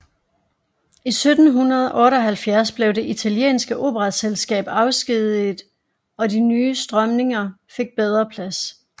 I 1778 blev Det italienske Operaselskab afskediget og de nye strømninger fik bedre plads